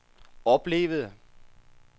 oplevede